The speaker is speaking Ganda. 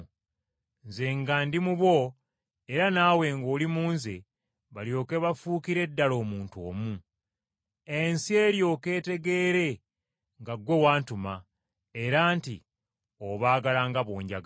Nze nga ndi mu bo, era naawe ng’oli mu Nze balyoke bafuukire ddala omuntu omu. Ensi eryoke etegeere nga ggwe wantuma era nti obaagala nga bw’onjagala.”